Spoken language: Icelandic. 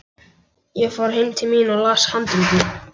Ég fór heim til mín og las handritið.